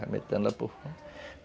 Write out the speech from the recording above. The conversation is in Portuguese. Vai metendo lá para o fundo.